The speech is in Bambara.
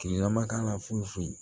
Kilela ma k'a la foyi foyi